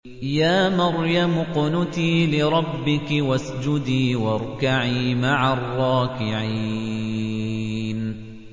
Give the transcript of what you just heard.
يَا مَرْيَمُ اقْنُتِي لِرَبِّكِ وَاسْجُدِي وَارْكَعِي مَعَ الرَّاكِعِينَ